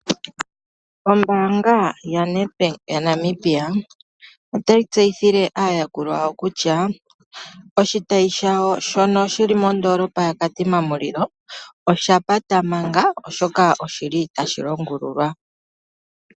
Ombaanga yaNedbank yaNamibia, otayi tseyithile aayakulwa yawo kutya oshitayi shawo shono shili mondoolopa yaKatima Mulilo oshapata manga oshoka oshili tashi longululwa.